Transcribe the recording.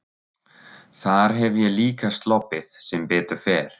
Þar hef ég líka sloppið sem betur fer.